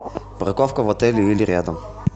парковка в отеле или рядом